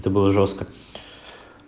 это было жёстко